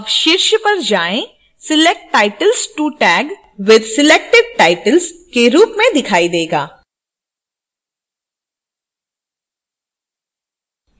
अब शीर्ष पर जाएं select titles to tag with selected titles के रूप में दिखाई tag